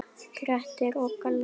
Grettir og Glámur